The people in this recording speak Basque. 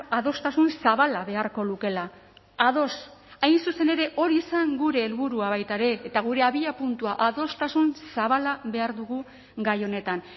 adostasun zabala beharko lukeela ados hain zuzen ere hori zen gure helburua baita ere eta gure abiapuntua adostasun zabala behar dugu gai honetan